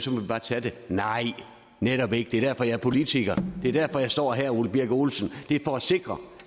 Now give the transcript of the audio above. vi bare tage det nej netop ikke det er derfor jeg er politiker det er derfor jeg står her ole birk olesen det er for at sikre